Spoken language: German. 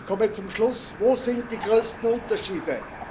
Ich komme zum Schluss Wo sind die größten Unterschiede?